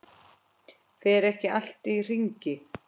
Fer ekki allt í hringi?